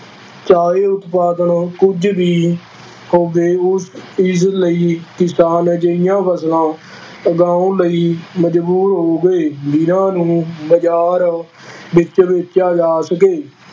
ਚਾਹੇ ਉਤਪਾਦਨ ਕੁੱਝ ਵੀ ਹੋਵੇ ਉਸ ਇਸ ਲਈ ਕਿਸਾਨ ਅਜਿਹੀਆਂ ਫਸਲਾਂ ਉਗਾਉਣ ਲਈ ਮਜ਼ਬੂਰ ਹੋ ਗਏ, ਜਿਹਨਾਂ ਨੂੰ ਬਾਜ਼ਾਰ ਵਿੱਚ ਵੇਚਿਆ ਜਾ ਸਕੇ,